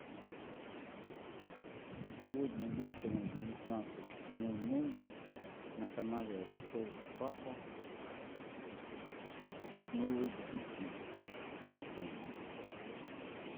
сегодня вечером в девятнадцать ноль ноль на канале ростов папа новый детектив напомнить